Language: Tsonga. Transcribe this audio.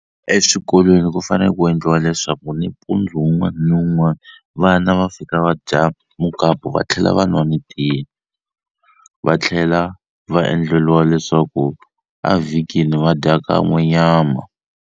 Eswikolweni ku fane ku endliwa leswaku nimpundzu wun'wana ni wun'wana vana va fika va dya mukapu va tlhela va n'wa ni tiya va tlhela va endleliwa leswaku a vhikini va dya kan'we nyama.